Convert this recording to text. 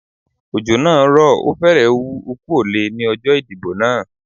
Òjò naa rò o férè wú okú òle ní ọjó ìdìbò náà